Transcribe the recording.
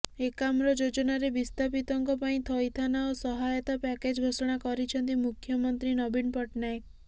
ଏକାମ୍ର ଯୋଜନାରେ ବିସ୍ଥାପିତଙ୍କ ପାଇଁ ଥଇଥାନ ଓ ସହାୟତା ପ୍ୟାକେଜ ଘୋଷଣା କରିଛନ୍ତି ମୁଖ୍ୟମନ୍ତ୍ରୀ ନବୀନ ପଟ୍ଟନାୟକ